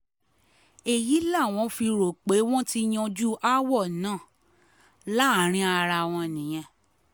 èyí làwọn fi rò pé wọ́n ti yanjú aáwọ̀ náà láàrin ara wọn nìyẹn